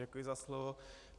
Děkuji za slovo.